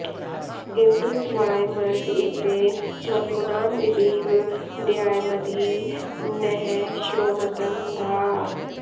इन्द्र त्वायमर्क ईट्टे वसूनां दिवीव द्यामधि नः श्रोमतं धाः